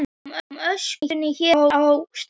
Ég sé um öskuna hér á staðnum.